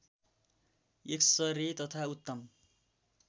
x ray तथा उत्तम